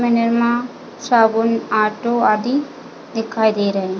निरमा साबुन ऑटो आदि दिखाई दे रहे है।